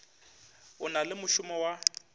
o na le mošomo wa